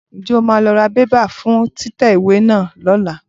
Ǹjẹ́ o máa lọ ra bébà fún títẹ ìwé náà lọ́la?